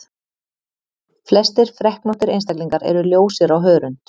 Flestir freknóttir einstaklingar eru ljósir á hörund.